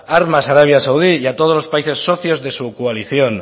armas a arabia saudí y a todos los países socios de su coalición